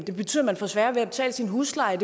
det betyder man få sværere ved at betale sin husleje